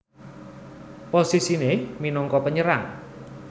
Posisiné minangka Penyerang